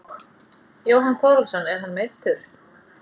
Jóhann Þórhallsson er hann meiddur?